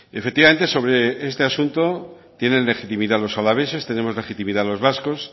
efectivamente sobre este asunto tienen legitimidad los alaveses tenemos legitimidad los vascos